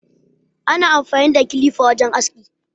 Ana amfani da kilifa wajen aski.